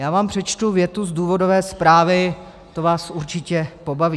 Já vám přečtu větu z důvodové zprávy, to vás určitě pobaví.